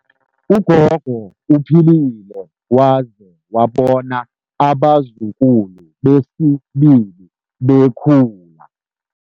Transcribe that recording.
Ugogo uphilile waze wabona abazukulu besibili bekhula.